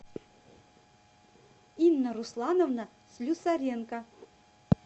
инна руслановна слюсаренко